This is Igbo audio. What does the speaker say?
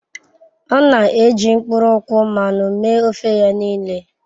Ọ na-eji mkpụrụ nkwụ mmanụ mee ofe ya niile.